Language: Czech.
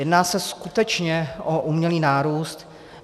Jedná se skutečně o umělý nárůst.